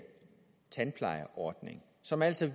tandplejeordning som altså